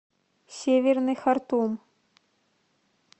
северный хартум